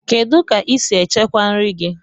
Kedụ ka I si echekwa nri gị?